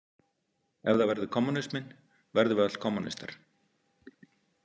Ef það verður kommúnisminn verðum við öll kommúnistar.